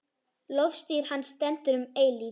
Lofstír hans stendur um eilífð.